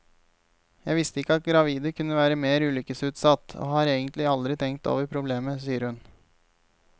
Jeg visste ikke at gravide kunne være mer ulykkesutsatt, og har egentlig aldri tenkt over problemet, sier hun.